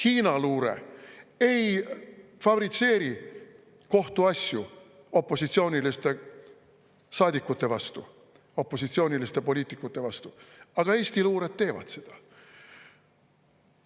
Hiina luure ei fabritseeri kohtuasju opositsiooniliste saadikute vastu, opositsiooniliste poliitikute vastu, aga Eesti luure teeb seda.